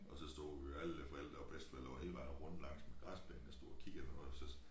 Og så stod jo alle forældre og bedsteforældre var hele vejen rundt langs græsplænen og stod og kiggede og noget så